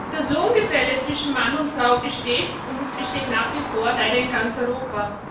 Das Lohngefälle zwischen Mann und Frau besteht, und es besteht nach wie vor leider in ganz Europa.